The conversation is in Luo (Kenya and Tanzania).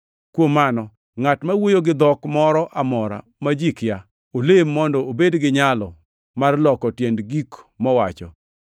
Kuom mano, ngʼat ma wuoyo gi dhok moro amora ma ji kia, olem mondo obed gi nyalo mar loko tiend gik mowacho.